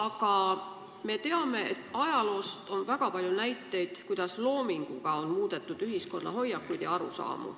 Aga me teame ajaloost väga paljusid näiteid, kuidas loominguga on muudetud ühiskonna hoiakuid ja arusaamu.